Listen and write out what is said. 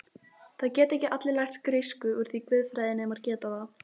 Það geta allir lært grísku úr því guðfræðinemar geta það.